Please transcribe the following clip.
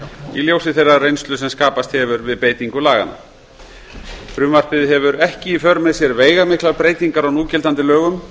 í ljósi þeirrar reynslu sem skapast hefur við beitingu laganna frumvarpið hefur ekki í för með sér veigamiklar breytingar á núgildandi lögum